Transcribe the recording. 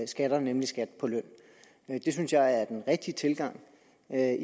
skatter nemlig skat på løn det synes jeg er den rigtige tilgang at